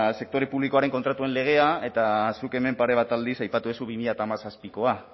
sektore publikoaren kontratuen legea eta zuk hemen pare bat aldiz aipatu duzu bi mila hamazazpikoa